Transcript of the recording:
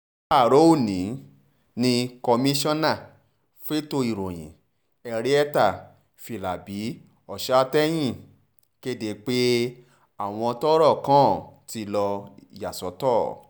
láàárọ̀ ọ̀nì ni kọ́sánná fẹ̀tọ́ ìròyìn henrietta a filabi-oshatahéhìn kéde pé àwọn tọ́rọ̀ kàn ti lo ìyàsọ́tọ̀